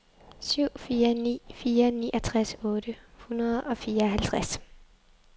syv fire ni fire niogtres otte hundrede og fireoghalvtreds